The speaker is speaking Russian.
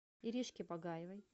иришке багаевой